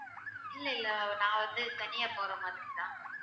இல்லை இல்லை நான் வந்து தனியா போற மாதிரிதான்